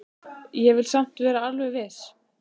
Ég vil samt vera alveg viss.